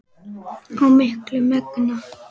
og miklu megna.